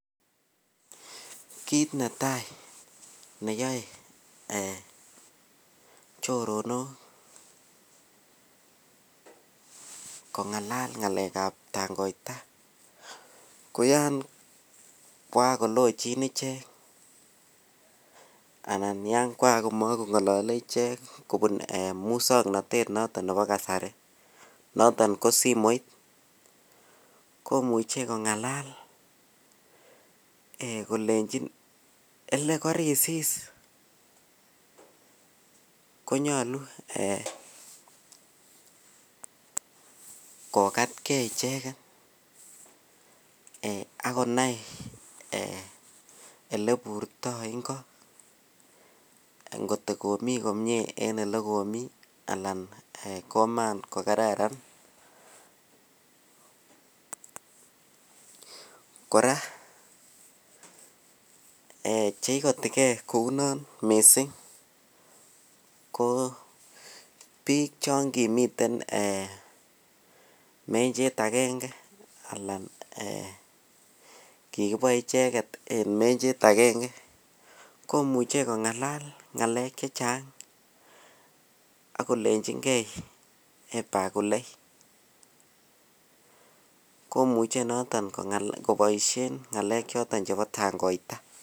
Kit netaineyoe er choronok kongalal ngalekab tangoita ko yan kwan kolochin ichek anan yan kwan komakongolole ichek kobun muswoknotet nebo kasari noton ko simoit komuch kongalal kolechi le korisis konyolu ee kokatkei ichek ak konai oleoiburtoi icheket kot komiten komie en olekomi kot koman kokararan kora ee cheikotijei kou non missing ko biik cho kimiten mrnhet aenge alan kikiboe icheket en menhet aenge komuch kongalal ngalek chechang ak kolrnjinkei bakule komuche noton kongalal koboishen ngalek choton chebo tangoitaa